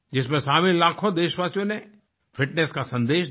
जिसमें शामिल लाखों देशवासियों ने फिटनेस का संदेश दिया